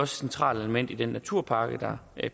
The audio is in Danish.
centralt element i den naturpakke der